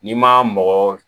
N'i ma mɔgɔ